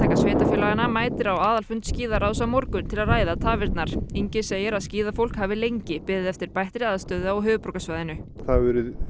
sveitarfélaganna mætir á aðalfund skíðaráðs á morgun til að ræða tafirnar Ingi segir skíðafólk hafi lengi beðið eftir bættri aðstöðu á höfuðborgarsvæðinu það hefur